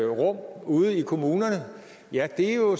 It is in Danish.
rum ude i kommunerne ja det er jo